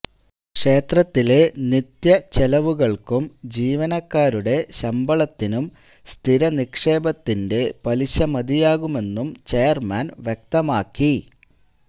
ക്ഷേത്രത്തിലെ നിത്യ ചെലവുകള്ക്കും ജീവനക്കാരുടെ ശമ്പളത്തിനും സ്ഥിരനിക്ഷേപത്തിന്റെ പലിശ മതിയാകുമെന്നും ചെയര്മാന് വ്യക്തമാക്കി